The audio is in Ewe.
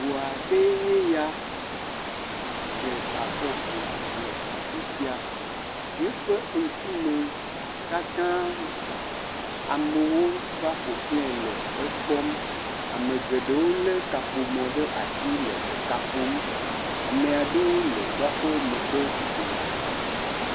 Ŋu aɖee nye ya dze fɔku le afi sia. Yeƒe ŋkume katã gba, amewo va ƒo xle le ekpɔm, ame geɖewo lé kaƒomɔ ɖe asi le eka ƒom. Amea ɖewo le woaƒe megbe dome.